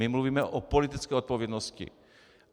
My mluvíme o politické odpovědnosti.